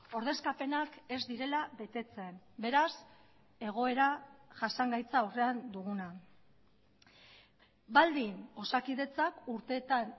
ordezkapenak ez direla betetzen beraz egoera jasangaitza aurrean duguna baldin osakidetzak urteetan